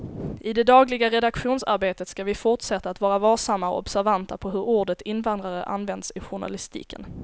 I det dagliga redaktionsarbetet ska vi fortsätta att vara varsamma och observanta på hur ordet invandrare används i journalistiken.